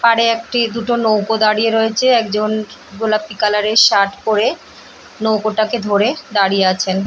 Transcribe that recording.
পারে একটি দুটো নৌকা দাঁড়িয়ে রয়েছে একজন গোলাপি কালার - এর শার্ট পরে নৌকোটাকে ধরে দাঁড়িয়ে আছেন ।